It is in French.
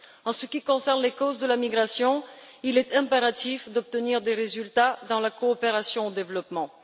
En ce qui concerne les causes de la migration, il est impératif d'obtenir des résultats dans la coopération au développement.